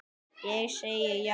Ég segi já!